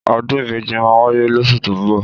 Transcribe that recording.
Ọdún ìbejí mà wàyé lòsú tọ mbọ